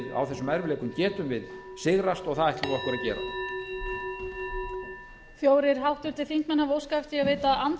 á þessum erfiðleikum getum við sigrast og það ætlum við okkur að gera